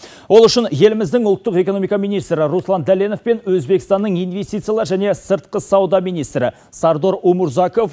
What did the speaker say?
ол үшін еліміздің ұлттық экономика министрі руслан дәленов пен өзбекстанның инвестициялар және сыртқы сауда министрі сардор умурзаков